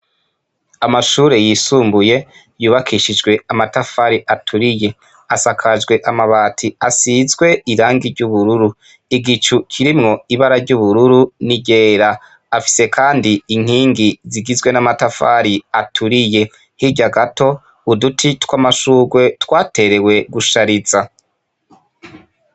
Amashure yisumbuye yubakishijwe amatafari aturiye, asakajwe amabati asizwe irangi ry'ubururu, igicu kirimwo ibara ry'ubururu ni ryera. Afise Kandi inkingi zigizwe n'amatafari aturiye. Hirya gato, uduti tw'amashurwe twaterewe gushariza.